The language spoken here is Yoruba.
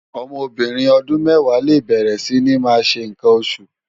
Òmò óbìrín òdún mèwá lé bèrè si ni má ṣé nkán óṣú